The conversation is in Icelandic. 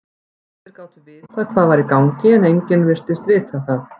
Allir gátu vitað hvað var í gangi, en enginn virtist vita það.